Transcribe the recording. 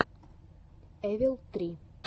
эвил три